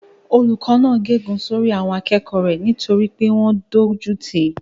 Olùkó náà gé ègún sórí àwọn akẹ́kọ̀ọ́ rẹ̀ nítorí pé wọ́n dójú tìí